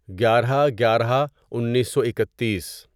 گیارہ گیارہ انیسو اکتیس